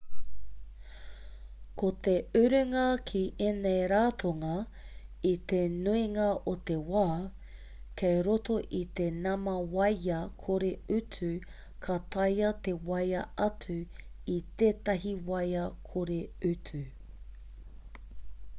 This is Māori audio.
ko te urunga ki ēnei ratonga i te nuinga o te wā kei roto i te nama waea kore-utu ka taea te waea atu i tētahi waea kore-utu